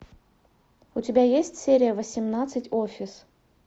у тебя есть серия восемнадцать офис